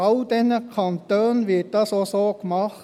In all diesen Kantonen wird das auch so gemacht.